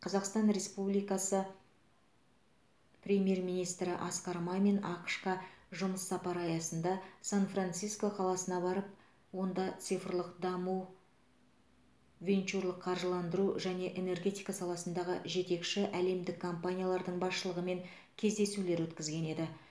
қазақстан республикасы премьер министрі асқар мамин ақш қа жұмыс сапары аясында сан франциско қаласына барып онда цифрлық даму венчурлық қаржыландыру және энергетика саласындағы жетекші әлемдік компаниялардың басшылығымен кездесулер өткізген еді